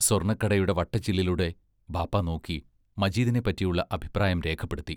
സ്വർണക്കണ്ണടയുടെ വട്ടച്ചില്ലിലൂടെ ബാപ്പാ നോക്കി മജീദിനെപ്പറ്റിയുള്ള അഭിപ്രായം രേഖപ്പെടുത്തി.